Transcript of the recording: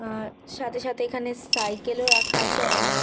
আর সাথে সাথে এখানে সাইকেলে ও রাখা আছে অনেক।